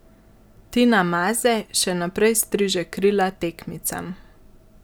Tina Maze še naprej striže krila tekmicam.